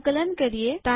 સંકલન કરીએ